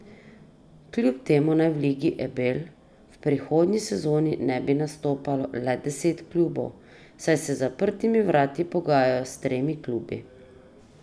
Kljub temu naj v Ligi Ebel v prihodnji sezoni ne bi nastopalo le deset klubov, saj se za zaprtimi vrati pogajajo s tremi klubi.